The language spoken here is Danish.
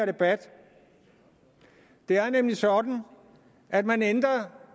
debat det er nemlig sådan at man ændrer